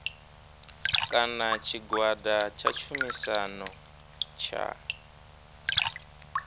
kana tshigwada tsha tshumisano tsha